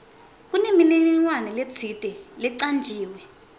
kunemininingwane letsite lecanjiwe